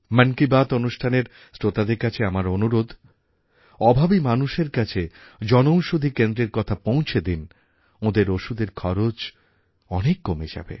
মন কি বাত অনুষ্ঠানের শ্রোতাদের কাছে আমার অনুরোধ অভাবী মানুষের কাছে জনঔষধি কেন্দ্রের কথা পৌঁছে দিন ওঁদের ওষুধের খরচ অনেক কমে যাবে